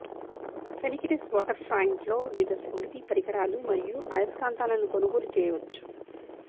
ఫెనికిడెస్ వాటర్ఫ్రంట్లో వివిధ స్మృతి పరికరాలు మరియు అయస్కాంతాలను కొనుగోలు చేయవచ్చు